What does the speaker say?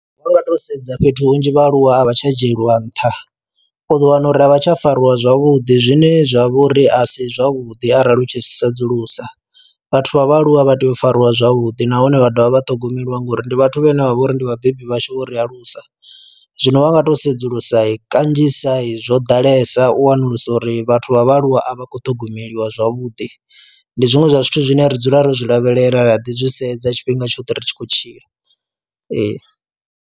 Vha nga to sedza fhethu hunzhi vhaaluwa a vha tsha dzhieliwa nṱha u ḓo wana uri a vha tsha fariwa zwavhuḓi zwine zwa vha uri a si zwavhuḓi arali u tshi sedzulusa vhathu vha vhaaluwa vha tea u fariwa zwavhuḓi nahone vha dovha vha ṱhogomeliwa ngori ndi vhathu vhane vha vha uri ndi vhabebi vhashu vho ri alusa, zwino vha nga to sedzulusa kanzhisa i zwo ḓalesa u wanulusa uri vhathu vha vhaaluwa a vha khou ṱhogomeliwa zwavhuḓi ndi zwiṅwe zwa zwithu zwine ra dzula ro zwi lavhelela ra ḓi zwi sedza tshifhinga tshoṱhe ri tshi khou tshila ee.